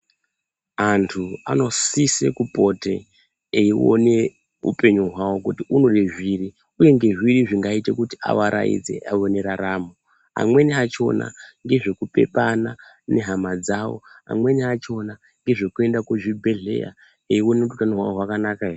Antu anosise kupota eione upenyu hwavo kuti unode zviri uye ngezviri zvingaite kuti avaraidze aone raramo. Amweni achona ngezvekupepana nehama dzawo. Amweni achona ngezvekuenda kuzvibhedhleya eiona kuti utano hwavo hwakanaka ere.